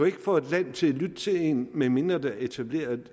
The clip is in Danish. ikke få et land til at lytte til en medmindre der er etableret